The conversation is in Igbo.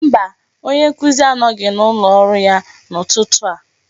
Mba, onye nkuzi anọghị n'ụlọ ọrụ ya n'ụtụtụ a.